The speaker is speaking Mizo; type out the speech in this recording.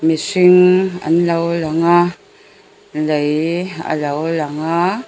mihring an lo lang a lei a lo lang a.